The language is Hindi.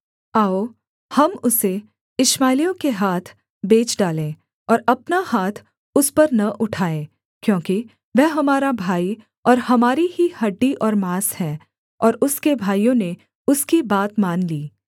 आओ हम उसे इश्माएलियों के हाथ बेच डालें और अपना हाथ उस पर न उठाए क्योंकि वह हमारा भाई और हमारी ही हड्डी और माँस है और उसके भाइयों ने उसकी बात मान ली